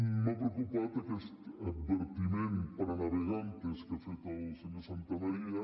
m’ha preocupat aquest advertiment para navegantesque ha fet el senyor santamaría